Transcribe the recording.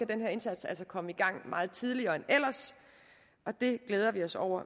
den her indsats komme i gang meget tidligere end ellers og det glæder vi os over